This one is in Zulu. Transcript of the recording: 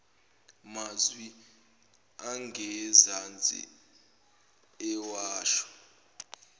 mazwi angezansi ewasho